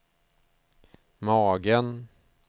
magen